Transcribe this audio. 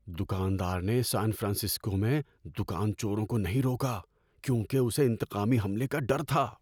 دکاندار نے San Francisco میں دکان چوروں کو نہیں روکا کیونکہ اسے انتقامی حملے کا ڈر تھا۔